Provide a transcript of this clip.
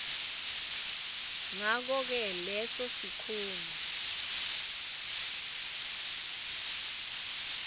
ngakoke leso sikhungo